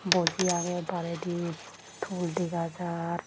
Boji agey baredi tool dega jaar.